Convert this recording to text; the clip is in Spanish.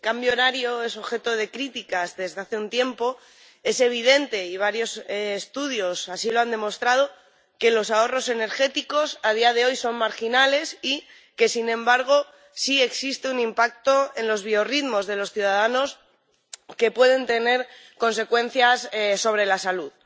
Señora presidenta, el cambio horario es objeto de críticas desde hace un tiempo. Es evidente —y varios estudios así lo han demostrado— que los ahorros energéticos a día de hoy son marginales y que, sin embargo, sí existe un impacto en los biorritmos de los ciudadanos que puede tener consecuencias sobre la salud.